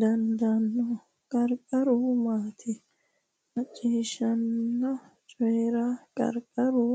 dandaanno? Qarqaru maati? Macciishshanna Coyi’ra Qarqaru